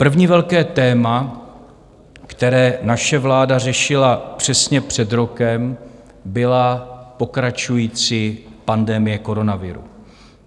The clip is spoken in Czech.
První velké téma, které naše vláda řešila přesně před rokem, byla pokračující pandemie koronaviru.